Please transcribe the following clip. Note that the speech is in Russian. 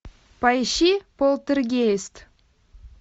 поищи полтергейст